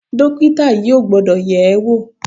Dọ́kítà yìí ò gbọ́dọ̀ yẹ̀ ẹ́ wò.